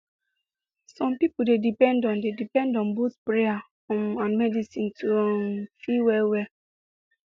some people dey depend on dey depend on both prayer um and medicine to um feel well well